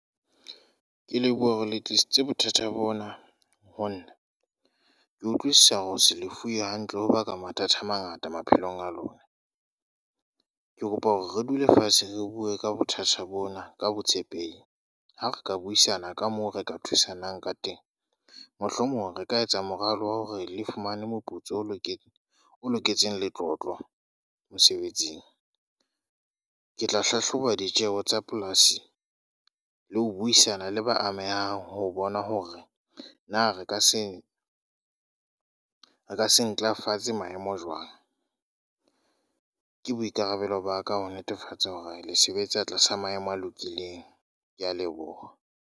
Ke leboha hore le tlisitse bothata bona ho nna. Ke utlwisisa hore ho se lefuwe hantle ho baka mathata a mangata maphelong a lona. Ke kopa hore re dule fatshe re bue ka bothata bona, ka botshepehi. h Ha re ka buisana ka moo re ka thusanang ka teng. Mohlomong re ka etsa moralo wa hore le fumane moputso o loketseng, o loketseng letlotlo mosebetsing. Ke tla hlahloba ditjeho tsa polasi, le ho buisana le ba amehang ho bona hore na re ka se re ka se ntlafatse maemo jwang. Ke boikarabelo ba ka ho netefatsa hore le sebetse a tlasa maemo a lokileng. Ke a leboha.